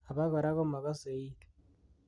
abokora komagase iit